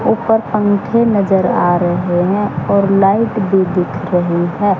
ऊपर पंखे नजर आ रहे हैं और लाइट भी दिख रही है।